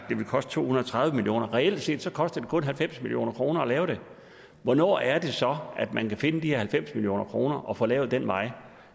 det vil koste to hundrede og tredive million reelt set koster det kun halvfems million kroner at lave det hvornår er det så at man kan finde de her halvfems million kroner og få lavet den vej